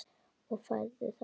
Og færðu það?